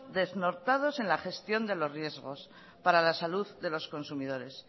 desnortados en la gestión de los riesgos para la salud de los consumidores